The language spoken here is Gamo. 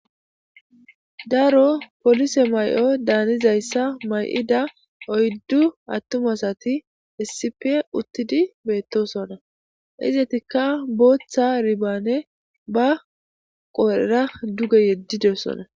Daro polise mayoda hanizayssa mayida oyddu attum asati issippe uuttidii bettossonna izetikka boththa hibabe ba qodhera duge yedidossonna